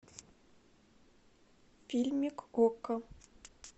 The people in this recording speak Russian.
фильмик окко